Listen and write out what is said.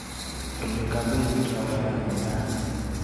Olly, kapetii lolenyu rani.